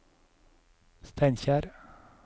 Steinkjer